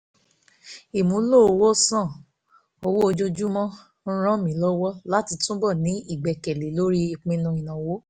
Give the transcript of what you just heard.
ọ̀pọ̀lọpọ̀ tọkọtaya ló máa ń fẹ́ kí wọ́n máa tọ́jú owó papọ̀ owó papọ̀ gégẹ́ bí èrí pé àwọn á jọ máa gbé papọ̀ fún àkókò gígùn